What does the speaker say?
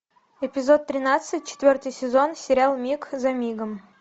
эпизод тринадцать четвертый сезон сериал миг за мигом